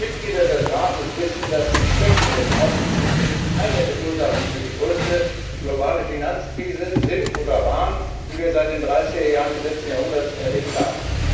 Auch die Mitglieder des Rates wissen, dass die Schwächen des Aufsichtssystems eine der Ursachen für die größte globale Finanzkrise sind oder waren, die wir seit den 30er Jahren des letzten Jahrhunderts erlebt haben.